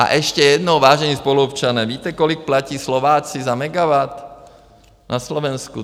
A ještě jednou, vážení spoluobčané - víte, kolik platí Slováci za megawatt na Slovensku?